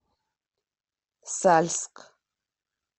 сальск